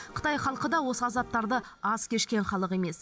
қытай халқы да осы азаптарды аз кешкен халық емес